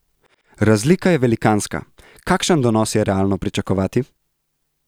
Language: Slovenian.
Razlika je velikanska, kakšen donos je realno pričakovati?